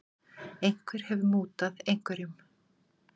Einhver hefur mútað einhverjum.